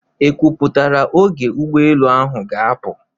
E kwupụtara oge ụgbọelụ ahụ ga-apụ?